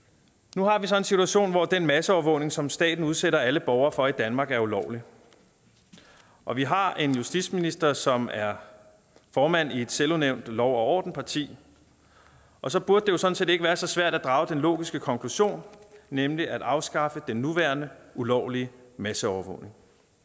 nu har vi så en situation hvor den masseovervågning som staten udsætter alle borgere for i danmark er ulovlig og vi har en justitsminister som er formand i et selvudnævnt lov og ordenparti og så burde det jo sådan set ikke være så svært at drage den logiske konklusion nemlig at afskaffe den nuværende ulovlige masseovervågning